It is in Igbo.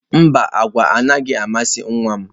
Mba, agwa anaghị amasị nwa m.